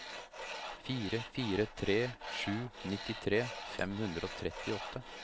fire fire tre sju nittitre fem hundre og trettiåtte